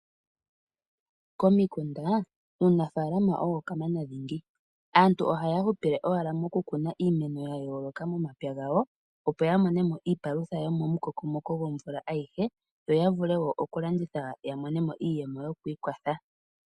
Komikunda, uunafalama owo kamana dhingi. Aantu ohaya hupile owala moku kuna iimeno ya yooloka momapya gawo opo ya monemo iipalutha yo momukokomoko gwovula ayihe, yo ya vule wo oku landitha ya mone mo iiyemo yo kwiikwatha.